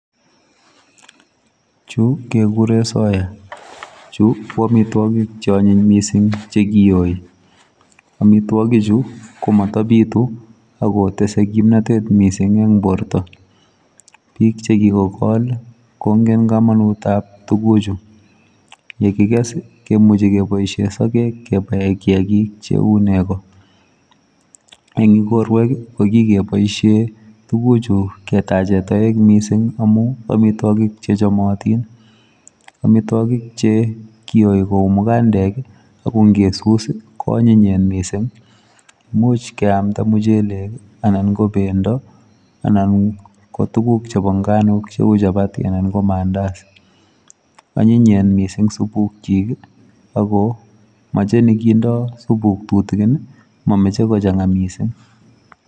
Chu kekure soya. Chu ko amitwokik cheonyiny mising chekiyoi, amitwokichu ko matabitu akotese komnotet mising eng borto. Biik chekikokol kongen komonutap tukuchu, yekikes kemuchi kepoishe sogek kepae kiakik cheu nego. Eng ikorwek, ko kikepoishe tukuchu ketache toek mising amu amitwokik chechomotin. Amitwokik chekiyoi ku mukandek, ako nkesus koanyinyen mising. Imuch keamda muchelek, anan ko pendo, anan ko tuguk chepo nganok cheu chapati anan ko mandas. Onyinyen mising supukchik, ako moche nekindoi supuk tutikin, mameche kochang'a mising.